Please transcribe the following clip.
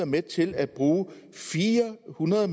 med til at bruge fire hundrede